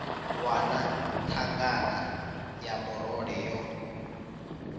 wana thangana ya murole yo